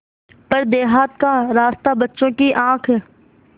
पर देहात का रास्ता बच्चों की आँख